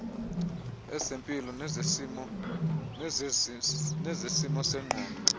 ezempilo nezesimo sengqondo